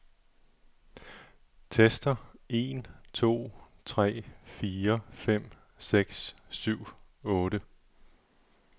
Tester en to tre fire fem seks syv otte.